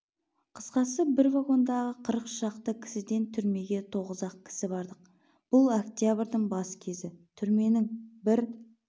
қысқасы бір вагондағы қырық шақты кісіден түрмеге тоғыз-ақ кісі бардық бұл октябрьдің бас кезі түрменің бір